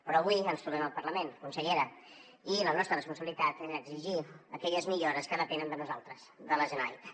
però avui ens trobem al parlament consellera i la nostra responsabilitat és exigir aquelles millores que depenen de nosaltres de la generalitat